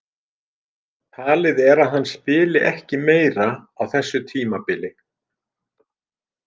Talið er að hann spili ekki meira á þessu tímabili.